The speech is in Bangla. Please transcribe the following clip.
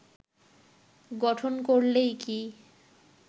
গঠন করলেই কি